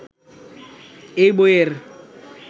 এই বইয়ের